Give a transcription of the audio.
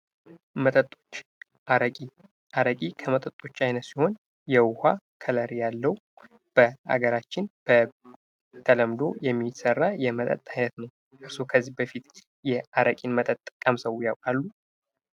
መጠጦች አረቂ አረቂ ከመጠጦች አይነት ሲሆን የዉሃ ከለር ያለው በሃገራችን በተለምዶ የሚሰራ የመጠጥ አይነት ነው። እርስዎ የአረቂን መጠጥ ቀምሰው ያቃሉ?